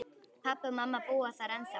Pabbi og mamma búa þar ennþá.